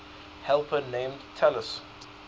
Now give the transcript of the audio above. helper named talus